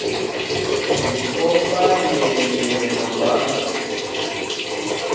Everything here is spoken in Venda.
mu vhofha milenzhe na zwanḓa